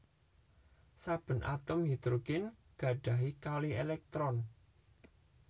Saben atom hidrogen gadahi kalih elektron